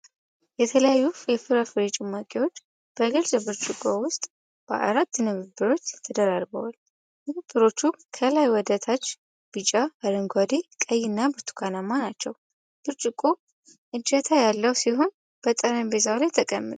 የተለያዩ የፍራፍሬ ጭማቂዎች በግልፅ ብርጭቆ ውስጥ በአራት ንብርብሮች ተደራርበዋል። ንብርቦቹ ከላይ ወደ ታች ቢጫ፣ አረንጓዴ፣ ቀይ እና ብርቱካንማ ናቸው። ብርጭቆው እጀታ ያለው ሲሆን፣ በጠረጴዛ ላይ ተቀምጧል።